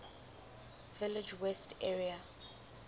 village west area